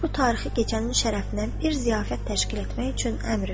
Əmir bu tarixi gecənin şərəfinə bir ziyafət təşkil etmək üçün əmr verdi.